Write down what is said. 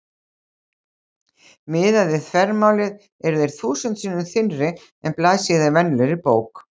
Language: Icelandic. Miðað við þvermálið eru þeir þúsund sinnum þynnri en blaðsíða í venjulegri bók.